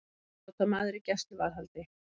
Síbrotamaður í gæsluvarðhaldi